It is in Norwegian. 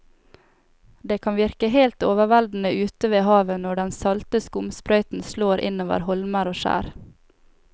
Det kan virke helt overveldende ute ved havet når den salte skumsprøyten slår innover holmer og skjær.